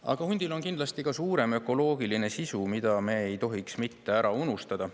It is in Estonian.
Aga hundil on kindlasti ka suurem ökoloogiline sisu, mida me ei tohiks ära unustada.